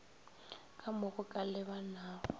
ka mo go ka lebanago